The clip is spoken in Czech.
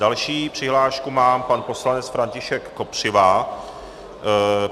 Další přihlášku má pan poslanec František Kopřiva.